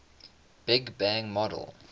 big bang model